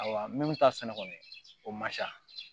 Ayiwa minnu ta sɛnɛ kɔni o ma ca